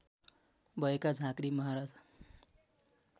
भएका झाँक्री महाराज